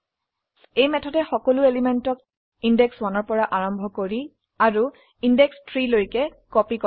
এই মেথডে সকলো এলিমেন্টক ইন্দেশ 1 পৰা আৰম্ভ কৰি আৰু ইন্দেশ 3 লৈকে কপি কৰে